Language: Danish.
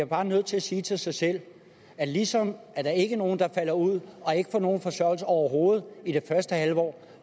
bare nødt til at sige til sig selv at ligesom der ikke er nogen der falder ud og ikke får nogen forsørgelse overhovedet i det første halvår